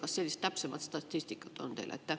Kas sellist täpsemat statistikat on teil?